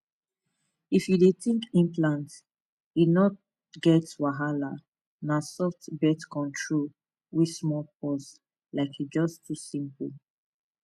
if you dey think implant e no get wahala na soft birth control way small pause like e just too simple